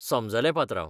समजलें, पात्रांव.